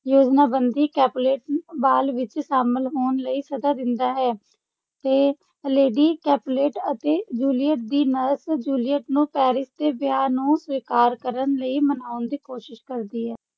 ਯੋਜਨਾਬੰਦੀ Capulet ball ਵਿੱਚ ਸ਼ਾਮਲ ਹੋਣ ਲਈ ਸੱਦਾ ਦਿੰਦਾ ਹੈ ਤੇ ਲੇਡੀ ਕੈਪੁਲੇਟ ਅਤੇ ਜੂਲੀਅਟ ਦੀ ਨਰਸ ਜੂਲੀਅਟ ਨੂੰ ਪੈਰਿਸ ਦੇ ਵਿਆਹ ਨੂੰ ਸਵੀਕਾਰ ਕਰਨ ਲਈ ਮਨਾਉਣ ਦੀ ਕੋਸ਼ਿਸ਼ ਕਰਦੀ ਹੈ।